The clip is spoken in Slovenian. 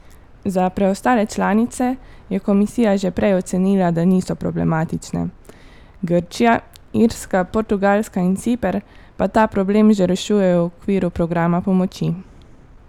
Za preostale članice je komisija že prej ocenila, da niso problematične, Grčija, Irska, Portugalska in Ciper pa ta problem že rešujejo v okviru programa pomoči.